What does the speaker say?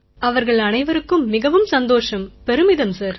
அவர்கள் அனைவருக்கும் மிகவும் சந்தோஷம் பெருமிதம் சார்